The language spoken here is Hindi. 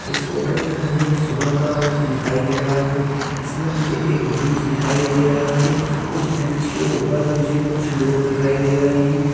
इस फोटो में मुझे सुबह का वक्त दिखाई दे रहा है इसमें मुझे एक ब्रिज दिखाई दे रहा है उस ब्रिज के ऊपर मुझे कुछ लोग दिखाई दे रहे हैं।